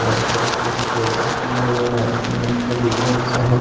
चारो तरफ से डिप्रेशन किया हुआ है सीमेंट सब ईटा उटा सब है ।